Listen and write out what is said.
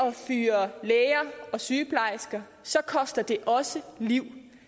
at fyre læger og sygeplejersker så koster det også liv